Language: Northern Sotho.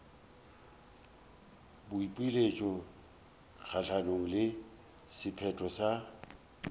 boipiletšo kgahlanong le sephetho sa